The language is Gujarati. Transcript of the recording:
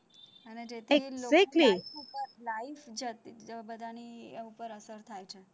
life બધાની ઉપર અસર થાય છે.